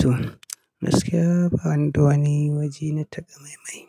To, gaskiya ba ni da wani waje na takamaimai.